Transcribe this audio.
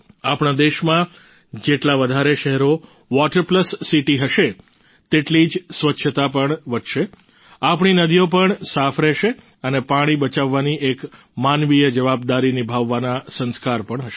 આપણા દેશમાં જેટલા વધારે શહેરો વોટર પ્લસ સીટી હશે તેટલી જ સ્વચ્છતા પણ વધશે આપણી નદીઓ પણ સાફ રહેશે અને પાણી બચાવવાની એક માનવીય જવાબદારી નિભાવવાના સંસ્કાર પણ હશે